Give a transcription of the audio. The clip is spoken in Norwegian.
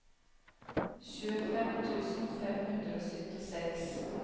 tjuefem tusen fem hundre og syttiseks